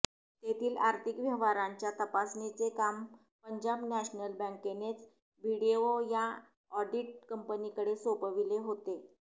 तेथील आर्थिक व्यवहाराच्या तपासणीचे काम पंजाब नॅशनल बँकेनेच बीडीओ या ऑडिट कंपनीकडे सोपविले होते